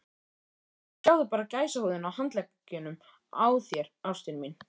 Sjáðu bara gæsahúðina á handleggjunum á þér, ástin mín.